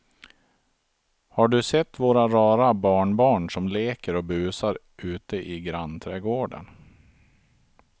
Har du sett våra rara barnbarn som leker och busar ute i grannträdgården!